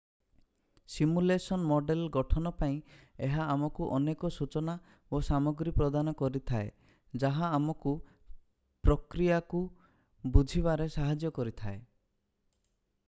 simulation model ଗଠନ ପାଇଁ ଏହା ଆମକୁ ଅନେକ ସୂଚନା ଓ ସାମଗ୍ରୀ ପ୍ରଦାନ କରିଥାଏ ଯାହା ଆମକୁ ପ୍ରକ୍ରିୟାକୁ ବୁଝିବାରେ ସାହାଯ୍ୟ କରିଥାଏ